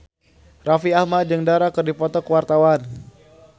Raffi Ahmad jeung Dara keur dipoto ku wartawan